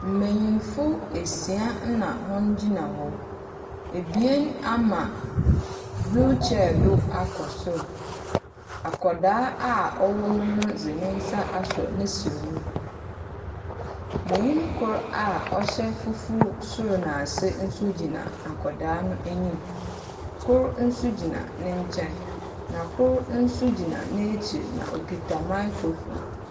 Mbanyin esia na wɔgyina hɔ, ebien ama wheelchair do akɔ sor, akwadaa a ɔwɔ mu no dze ne nsa asɔ ne serɛ mu. Banyin kor so a ɔhyɛ fufuw sor na ase so gyina akwadaa no anim, kor so gyina ne nkyɛn na kor so gyina n’ekyir na okitsa microphone.